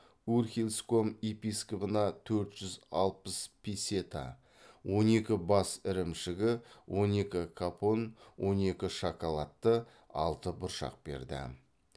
урхельском епископына төрт жүз алпыс песета он екі бас ірімшігі он екі капон он екі шоколадты алты бұршақ берді